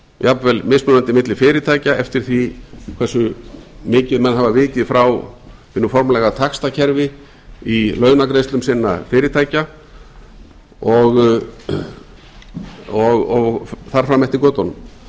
jafnvel mismunandi milli fyrirtækja eftir því hversu mikið menn hafa vikið frá hinu formlega taxtakerfi í launagreiðslum sinna fyrirtækja og þar fram eftir götunum það